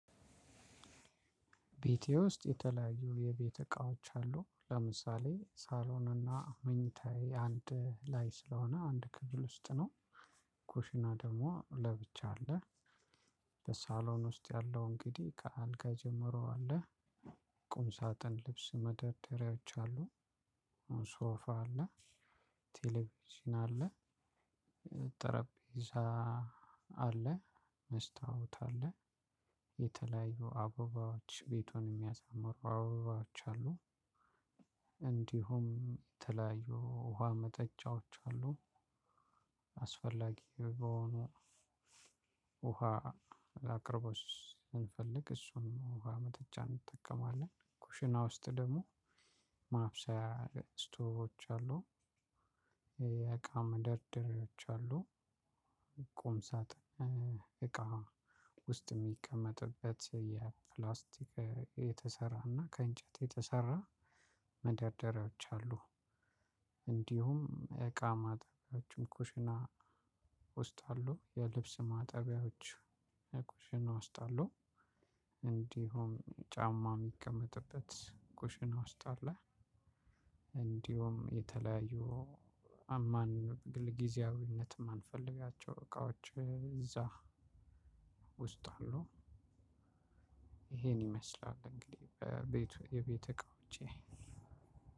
ቤቴ ውስጥ የተለያዩ የቤተ እቃዎች አሉ ለምሳሌ ሳሎንና መኝታዬ አንድ ላይ ስለሆነ አንድ ክፍል ውስጥ ነው። ኮሽና ደግሞ ለብቻ አለ። ለሳሎን ውስጥ ያለው እንግዲህ ከአልጋ ጀምሮ አለ። ቁም ሳጥን ልብስ መደርደሪያዎች አሉ። አሁን ሶፋ አለ። ቴሌቪዥን አለ። ጠረጴዛ አለ መስታወት አለ። የተለያዩ አበባዎች ቤቱን የሚያሳምሩ አበባዎች አሉ። እንዲሁም የተለያዩ ውሃ መጠጫዎች አሉ። አስፈላጊ በሆኑ ውሃ ላቅርበው ስንፈልግ እሱን ውሃ መጠጫ እንጠቀማለን። ኩሽና ውስጥ ደግሞ ማብሰያ እስቶቮች አሉ። የአቃም መደርደሪያዎች አሉ። ቁም ሳጥን እቃ ውስጥ የሚቀመጥበት የፕላስቲክ የተሰራና ከእንጨት የተሰራ መደርደሪያዎች አሉ። እንዲሁም የቃ ማጠቢያዎችም ኩሽና ውስጥ አሉ የልብስ ማጠቢያዎች ኩሽና ውስጥ አሉ። እንዲሁም ጫማ የሚቀመጥበት ኩሽና ውስጥ አለ። እንዲሁም የተለያዩ አማን ጊዜያዊነትም የማንፈልጊያቸው እቃዎች እዛ ውስጥ አሉ። ይሄን ይመስላል እንግዲህ በቤት የቤት እቃ ውጪ